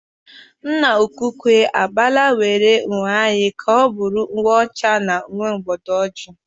Nna-ukwu ukwe agbanweela uwe anyị ka ọ bụrụ uwe ọcha na uwe mwụda ojii.